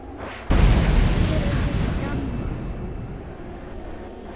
Hver er þessi Gamma?